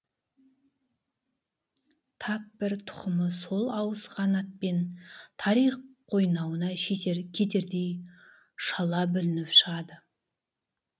тап бір тұқымы сол ауысқан атпен тарих қойнауына кетердей шала бүлініп шығады